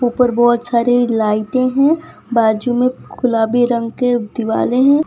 ऊपर बहुत सारी लाइटें हैं। बाजू में गुलाबी रंग के दीवाले हैं।